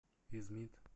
измит